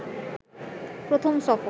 প্রথম সফর